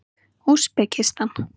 Úsbekistan